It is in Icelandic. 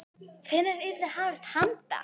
Hvenær yrði hafist handa?